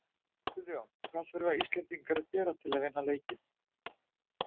Guðjón, hvað þurfa Íslendingar að gera til að vinna leikinn?